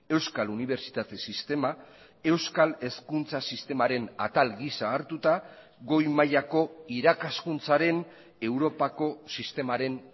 euskal unibertsitate sistema euskal hezkuntza sistemaren atal giza hartuta goi mailako irakaskuntzaren europako sistemaren